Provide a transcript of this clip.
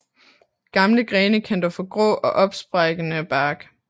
Gamle grene kan dog få grå og opsprækkende bark